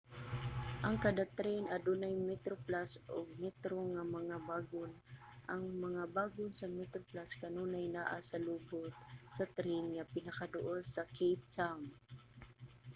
ang kada tren adunay metroplus ug metro nga mga bagon; ang mga bagon sa metroplus kanunay naa sa lubot sa tren nga pinakaduol sa cape town